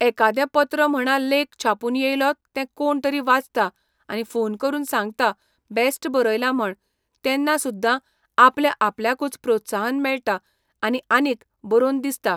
एकादें पत्र म्हणा लेख छापून येयलो ते कोण तरी वाचता आनी फोन करून सांगता बेस्ट बरयलां म्हण तेन्ना सुद्दां आपल्या आपल्याकूच प्रोत्साहन मेळटा आनी आनीक बरोवन दिसता.